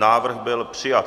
Návrh byl přijat.